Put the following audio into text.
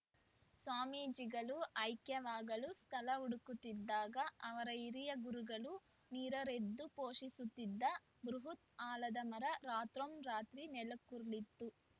ಸ್ವಾಮೀಜಿಗಳು ಐಕ್ಯವಾಗಲು ಸ್ಥಳ ಹುಡುಕುತ್ತಿದ್ದಾಗ ಅವರ ಹಿರಿಯ ಗುರುಗಳು ನೀರೆರೆದು ಪೋಷಿಸಿದ್ದ ಬೃಹತ್‌ ಆಲದ ಮರ ರಾತ್ರೊನ್ ರಾತ್ರಿ ನೆಲಕ್ಕುರುಳಿತ್ತು